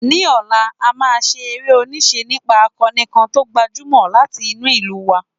Ní ọ̀la, a máa ṣe eré-oníṣe nípa akoni kan tó gbajúmọ̀ láti inú ìlú wa.